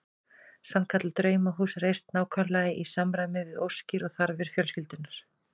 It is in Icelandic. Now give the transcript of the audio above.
Sannkallað draumahús reist nákvæmlega í samræmi við óskir og þarfir fjölskyldunnar.